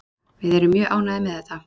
Við erum mjög ánægðir með þetta.